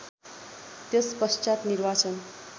त्यसपश्चात् निर्वाचन